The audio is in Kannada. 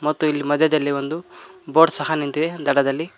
ಮತ್ತು ಇಲ್ಲಿ ಮಧ್ಯದಲ್ಲಿ ಒಂದು ಬೋಟ್ ಸಹ ನಿಂತಿದೆ ದಡದಲ್ಲಿ.